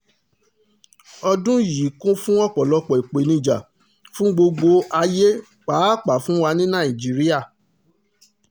ọdún yìí kún fún ọ̀pọ̀lọpọ̀ ìpèníjà fún gbogbo ayé pàápàá fún wa ní nàìjíríà